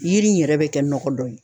Yiri in yɛrɛ bɛ kɛ nɔgɔ dɔ ye.